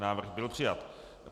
Návrh byl přijat.